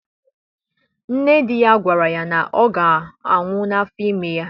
Nne di ya gwara ya na ọ ga-anwu na afọ ime ya